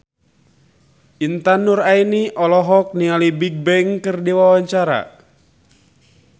Intan Nuraini olohok ningali Bigbang keur diwawancara